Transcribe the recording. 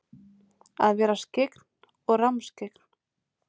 Að vera skyggn og rammskyggn?